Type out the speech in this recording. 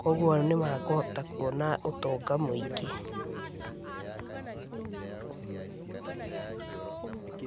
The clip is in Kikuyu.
kwoguo nĩmekũhota kuona ũtonga mũingĩ.